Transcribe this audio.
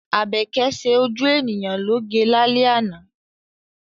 Àbẹ́kẹ́ ṣe ojú ènìyàn lóge lálẹ́ àná.